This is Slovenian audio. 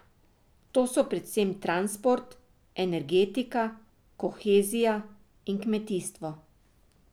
To so predvsem transport, energetika, kohezija in kmetijstvo.